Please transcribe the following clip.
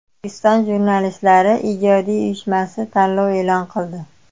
O‘zbekiston Jurnalistlari ijodiy uyushmasi tanlov e’lon qildi.